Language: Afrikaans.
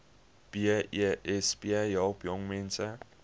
besp help jongmense